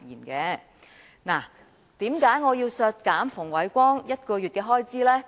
為何我要削減馮煒光1個月薪酬呢？